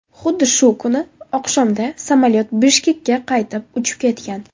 Xuddi shu kuni oqshomda samolyot Bishkekka qaytib uchib ketgan.